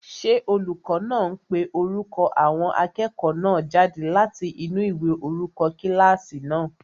Ṣé olùkọ́ náà ń pe orúkọ àwọn akẹ́kọ̀ọ́ náà jáde láti inú ìwé orúkọ kílásì náà?